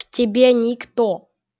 к тебе никто